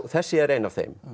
þessi er ein af þeim